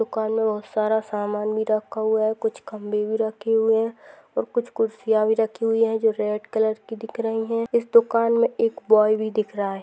दुकान मे बहुत सारा सामान भी रखा हुआ है कुछ खंबे भी रखे हुए है और कुछ खुर्चीया भी रखी हुई है जो रेड कलर की दिख रही है इस दुकान मे एक बॉय भी दिख रहा है।